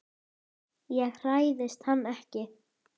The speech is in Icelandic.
Ég hræðist hann ekki.